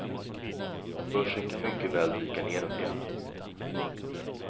Börsen kan mycket väl dyka nedåt igen.